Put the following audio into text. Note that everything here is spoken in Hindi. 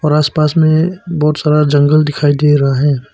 और आस पास में बहुत सारा जंगल दिखाई दे रहा है।